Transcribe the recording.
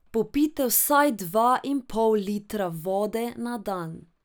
Popijte vsaj dva in pol litra vode na dan.